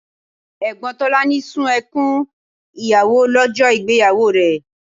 Ẹ̀gbọ́n Tolani sun ẹkún ìyàwó lọ́jọ́ ìgbéyàwó rẹ̀